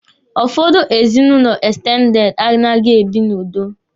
Ụfọdụ ezinụlọ ekstendede anaghị ebi n'udo.